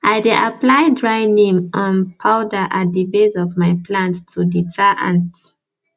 i dey apply dry neem um powder at the base of my plants to deter ants